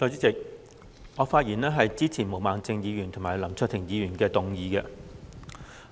代理主席，我發言支持毛孟靜議員和林卓廷議員的議案。